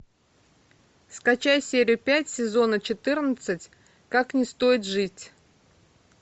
скачай серию пять сезона четырнадцать как не стоит жить